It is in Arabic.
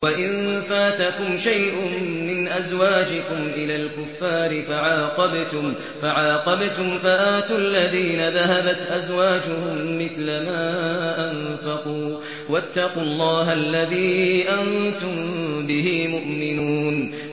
وَإِن فَاتَكُمْ شَيْءٌ مِّنْ أَزْوَاجِكُمْ إِلَى الْكُفَّارِ فَعَاقَبْتُمْ فَآتُوا الَّذِينَ ذَهَبَتْ أَزْوَاجُهُم مِّثْلَ مَا أَنفَقُوا ۚ وَاتَّقُوا اللَّهَ الَّذِي أَنتُم بِهِ مُؤْمِنُونَ